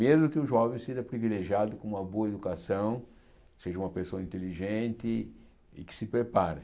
Mesmo que o jovem seja privilegiado com uma boa educação, seja uma pessoa inteligente e que se prepare.